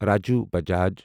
Raju Bajaj